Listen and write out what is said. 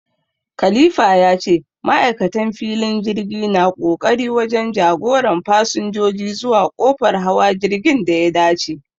Khalifa ya ce ma'aikatan filin jirgi na ƙoƙari wajen jagoran fasinjoji zuwa kofar hawa jirgin da ya dace